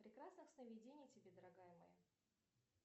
прекрасных сновидений тебе дорогая моя